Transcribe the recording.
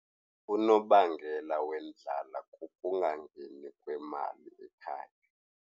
Unobangela wendlala kukungangeni kwemali ekhaya.